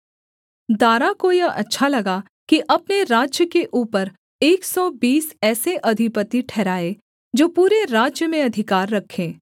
दारा को यह अच्छा लगा कि अपने राज्य के ऊपर एक सौ बीस ऐसे अधिपति ठहराए जो पूरे राज्य में अधिकार रखें